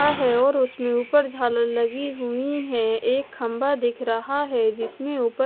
रा है और उसमें ऊपर झालर लगी हुई हैं एक खंभा दिख रहा है जिसमें ऊपर--